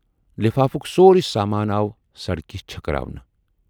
لفافُک سورُے سامانہٕ آو سڑکہِ چھٔکراونہٕ۔